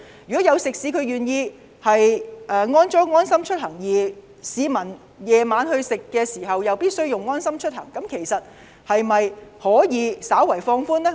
如果食肆有安裝"安心出行"，而市民晚上堂食時必須使用這應用程式，當局可否稍為放寬措施呢？